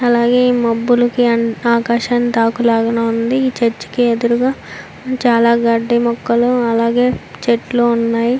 అలాగే ఈ మబ్బులకి ఆకాశం తాకు లాగా ఉంది. ఈ చర్చి కి ఎదురుగా చాలా గడ్డి మొక్కలు అలాగే చెట్లు ఉన్నాయి.